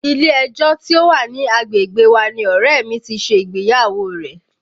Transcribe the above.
Ilé ẹjọ́ tí ó wà ní agbègbè wa ni ọ̀rẹ́ ẹ̀ mi ti ṣe ìgbéyàwó rẹ̀